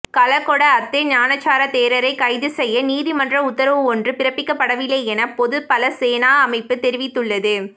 கலகொட அத்தே ஞானசார தேரரை கைது செய்ய நீதிமன்ற உத்தரவொன்று பிறப்பிக்கப்படவில்லை என பொது பல சேனா அமைப்பு தெரிவித்துள்ளது